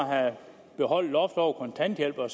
at have beholdt loftet over kontanthjælpen